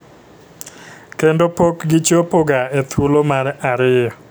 Kendo pok gichopo ga e thuolo mar ariyo